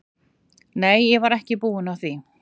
Nei, ég var ekki búin að því.